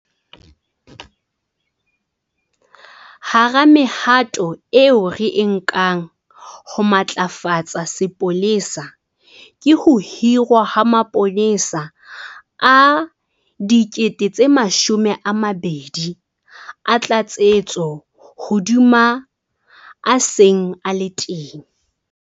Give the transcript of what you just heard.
Hara mehato eo re e nkang ho matlafatsa sepolesa ke ho hirwa ha mapolesa a 12 000 a tlatsetso hodima a seng a le teng.